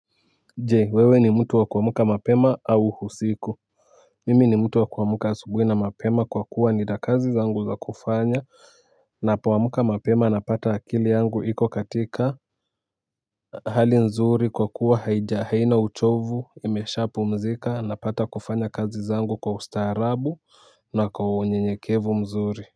Je, wewe ni mtu wa kuamka mapema au usiku? Mimi ni mtu wa kuamka asubuhi na mapema kwa kuwa nina kazi zangu za kufanya. Napoamka mapema napata akili yangu iko katika hali nzuri kwa kuwa haina uchovu, imeshapumzika, napata kufanya kazi zangu kwa ustaarabu na kwa unyenyekevu mzuri.